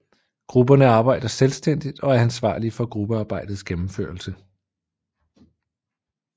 Grupperne arbejder selvstændigt og er ansvarlige for gruppearbejdets gennemførelse